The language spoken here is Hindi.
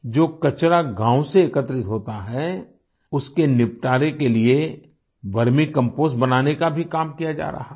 जो कचरा गाँव से एकत्रित होता है उसके निपटारे के लिए वर्मी कंपोस्ट बनाने का भी काम किया जा रहा है